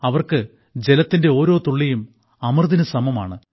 അവർക്ക് ജലത്തിന്റെ ഓരോ തുള്ളിയും അമൃതിനു സമമാണ്